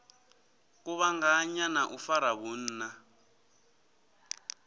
kuvhanganya na u fara vhunna